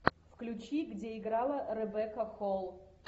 включи где играла ребекка холл